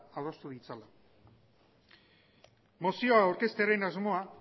adostu ditzala mozio aurkeztearen asmoa